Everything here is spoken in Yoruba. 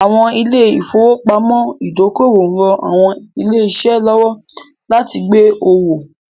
Àwọn ilé ìfowópamọ́ ìdókòwò ń ran àwọn ilé-iṣẹ́ lọ́wọ́ láti gbé owó